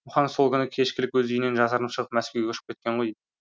мұхаң сол күні кешкілік өз үйінен жасырынып шығып мәскеуге ұшып кеткен ғой